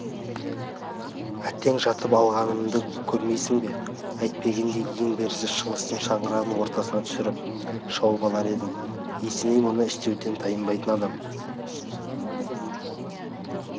әттең жатып алғанымды көрмейсің бе әйтпегенде ең берісі шыңғыстың шаңырағын ортасына түсіріп шауып алар едім есеней мұны істеуден тайынбайтын адам